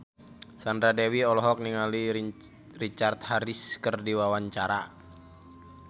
Sandra Dewi olohok ningali Richard Harris keur diwawancara